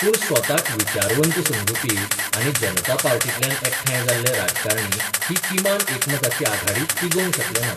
पूण स्वताक विचारवंत समजुपी आनी जनता पार्टीतल्यान एकठांय जाल्ले राजकारणी ही किमान एकमताची आघाडी तिगोवंक शकले नात.